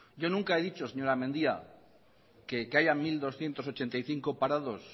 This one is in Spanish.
yo nunca he dicho señora mendia que haya mil doscientos ochenta y cinco parados